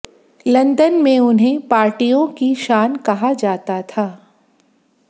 London में उन्हें पार्टीयों की शान कहा जाता था